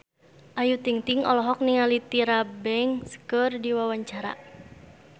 Ayu Ting-ting olohok ningali Tyra Banks keur diwawancara